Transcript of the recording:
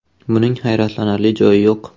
“Buning hayratlanarli joyi yo‘q.